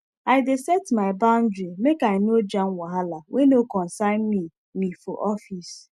i dey set my boundary make i no jam wahala wey no concern me me for office